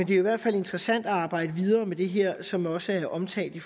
det er i hvert fald interessant at arbejde videre med det her som også er omtalt i